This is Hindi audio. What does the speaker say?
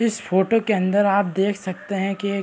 इस फोटो के अंदर आप देख सकते है की एक--